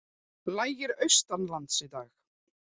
Lægir austanlands í dag